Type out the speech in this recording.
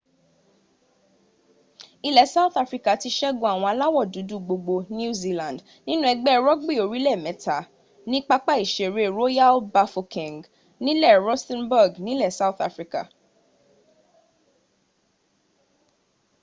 ilẹ̀ south africa ti sẹ́gun àwọn aláwọ̀ dúdú gbogbo new zealand nínú ẹgbẹ́ rugby orílẹ̀ mẹ́ta ní pápá ìseré royal bafokeng nílẹ̀ rustenburg nilẹ̀ south africa